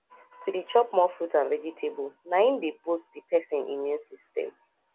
to dey chop more fruit and vegetable na im dey boost di persin immune system